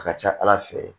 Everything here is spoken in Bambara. A ka ca ala fɛ